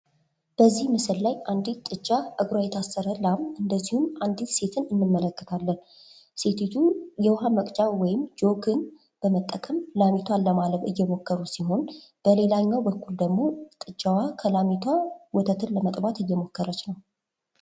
በዚ ምስል ላይ አንዲት ጥጃ እግሯ የታሰረ ላም እንደዚሁም አንዲት ሴትን እንመለከታለን:: ሴቲቱ የዉሃ መቅጃ ወይም ጆግን በመጠቀም ላምቷን ለማለብ እየሞከሩ ሲሆን በሌላኛው በኩል ደግሞ ጥጃዋ ከላሚቷ ወተት ለመጥባት እየሞከረች ነው::